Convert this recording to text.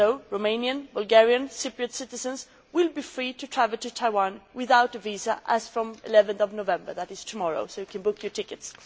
Romanian, Bulgarian and Cypriot citizens will be free to travel to Taiwan without a visa as from 11 November which is tomorrow, so you can book your tickets!